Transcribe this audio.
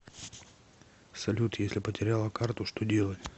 салют если потеряла карту что делать